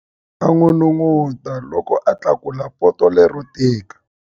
A n'unun'uta loko a tlakula poto lero tika.